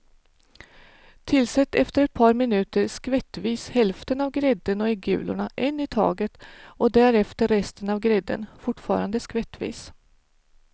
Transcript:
Tillsätt efter ett par minuter skvättvis hälften av grädden och äggulorna en i taget och därefter resten av grädden, fortfarande skvättvis.